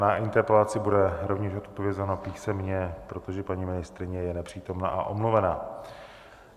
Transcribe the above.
Na interpelaci bude rovněž odpovězeno písemně, protože paní ministryně je nepřítomna a omluvena.